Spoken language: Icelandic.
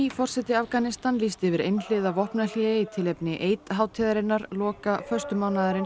forseti Afganistans lýsti yfir einhliða vopnahléi í tilefni hátíðarinnar loka